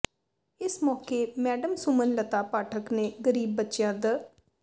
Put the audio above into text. ਇਸ ਮੌਕੇ ਮੈਡਮ ਸੁਮਨ ਲਤਾ ਪਾਠਕ ਨੇ ਗ਼ਰੀਬ ਬੱਚਿਆਂ ਦ